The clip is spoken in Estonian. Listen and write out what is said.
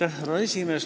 Aitäh, härra esimees!